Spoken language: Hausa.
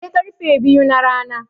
Sai karfe biyu na rana